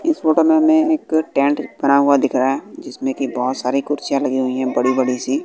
इस फोटो में हमें एक टेंट बना हुआ दिख रहा है जिसमें की बहोत सारी कुर्सियां लगी हुई हैं बड़ी बड़ी सी।